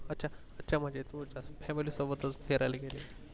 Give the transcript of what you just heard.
अच्छा अच्छा म्हणजे तू family सोबतच फिरायला गेलेली